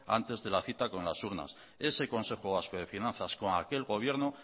antes de la cita con las urnas ese consejo vasco de finanzas con aquel gobierno